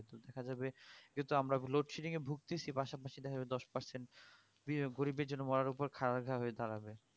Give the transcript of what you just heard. দেখা যাবে যেহেতু আমরা এখন load shedding এ ভুগতেছি পাশাপাশিভাবে দশ percent গরিবের জন্যে মরার ওপর খাড়ার ঘা হয়ে দাঁড়াবে